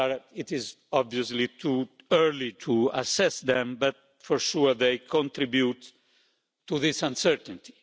It is obviously too early to assess them, but for sure they contribute to this uncertainty.